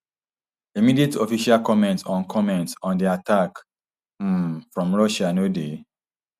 immediate official comment on comment on di attack um from russia no dey